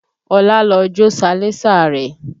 Ọlá lọ jó salẹńsà rẹ̀